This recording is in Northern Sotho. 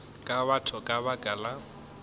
ke batho ka baka la